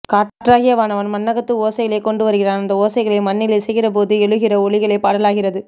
காற்றாகிய வானவன் மண்ணகத்து ஓசைகளைக்கொண்டுவருகிறான் அந்த ஓசைகளை மண்ணில் இசைக்கிறபோது எழுகிற ஒலிகளே பாடலாகிறது